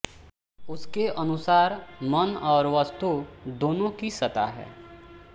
उसके अनुसार मन और वस्तु दोनों की सत्ता है